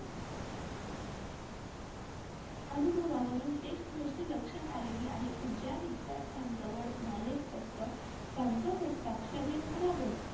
अनुभवावरून एक गोष्ट लक्षात आलेली आहे कि ज्या विध्यार्थ्यांजवळ Knowledge असत त्यांचं हस्ताक्षर खराब असते.